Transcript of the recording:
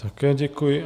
Také děkuji.